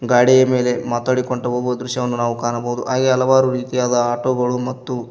ಗಾಡಿಯ ಮೇಲೆ ಮಾತಾಡಿಕೊಂಡು ಹೋಗುವ ದೃಶ್ಯವನ್ನು ನಾವು ಕಾಣಬಹುದು ಹಾಗೆಯೇ ಹಲವಾರು ರೀತಿಯ ಆಟೋ ಗಳು ಮತ್ತು--